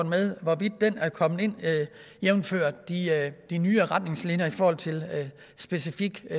med hvorvidt den er kommet ind jævnfør de nye retningslinjer i forhold til specifik